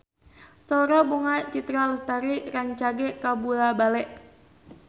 Sora Bunga Citra Lestari rancage kabula-bale